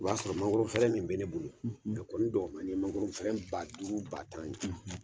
O b'a sɔrɔ ma fɛrɛɛ min bɛ ne bolo, , a kɔni dɔgɔmani ye mangɔron ba duuru ba tan ye !